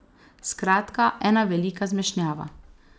Skratka, ena velika zmešnjava.